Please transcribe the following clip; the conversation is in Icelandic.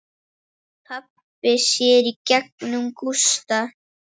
Pabbi sér í gegnum Gústa.